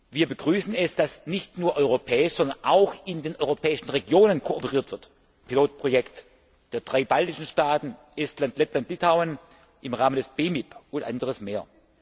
Wir begrüßen es, dass nicht nur europäisch, sondern auch in den europäischen Regionen kooperiert wird das Pilotprojekt der drei baltischen Staaten Estland, Lettland und Litauen im Rahmen des BEMIP und anderes mehr.